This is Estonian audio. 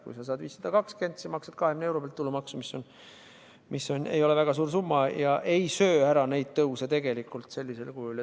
Kui sa saad 520, siis sa maksad 20 euro pealt tulumaksu, mis ei ole väga suur summa ja ei söö neid tõuse ära.